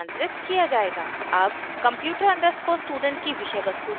अब computer _ student की विषय वस्तु देखते हैं